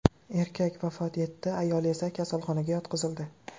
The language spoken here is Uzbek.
Erkak vafot etdi, ayoli esa kasalxonaga yotqizildi.